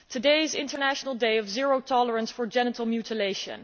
Today is international day of zero tolerance for genital mutilation.